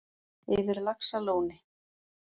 Yfir laxalóni